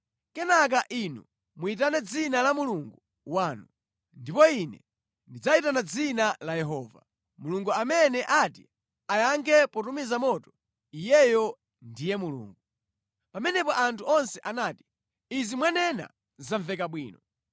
Kenaka inu muyitane dzina la mulungu wanu, ndipo ine ndidzayitana dzina la Yehova. Mulungu amene ati ayankhe potumiza moto, iyeyo ndiye Mulungu.” Pamenepo anthu onse anati, “Izi mwanena zamveka bwino.”